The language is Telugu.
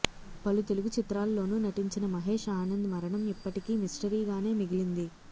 పలు తెలుగు చిత్రాల్లోనూ నటించిన మహేష్ ఆనంద్ మరణం ఇప్పటికీ మిస్టరీగానే మిగిలింది